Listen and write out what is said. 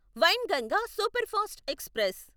Wainganga superfast express